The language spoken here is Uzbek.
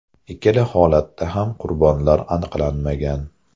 Ikkala holatda ham qurbonlar aniqlanmagan.